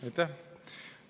Aitäh!